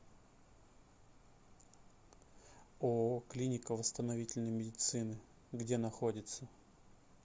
ооо клиника восстановительной медицины где находится